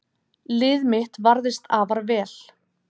Lið mitt varðist afar vel